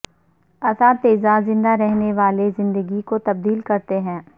اساتذہ زندہ رہنے والے زندگی کو تبدیل کرتے ہیں